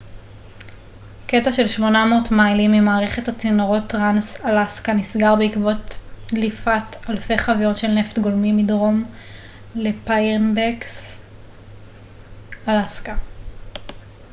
קטע של 800 מיילים ממערכת הצינורות טרנס-אלסקה נסגר בעקבות דליפת אלפי חביות של נפט גולמי מדרום לפיירבנקס אלסקה